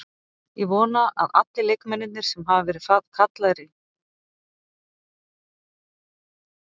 Ég vona að allir leikmennirnir sem hafa verið kallaðir í landsliðshópa fái að spila.